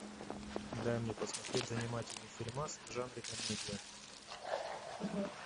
дай мне посмотреть занимательный фильмас в жанре комедия